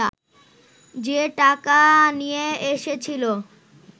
যে টাকা নিয়ে এসেছিলো